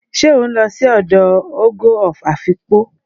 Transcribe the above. se o nlo si odo "ogo of Afikpo"?